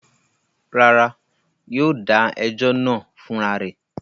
Rárá, yóò dà ẹjọ́ náà fún ra rẹ̀.